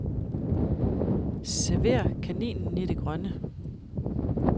Server kaninen i det grønne.